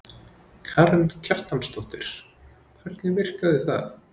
Karen Kjartansdóttir: Hvernig virkaði það?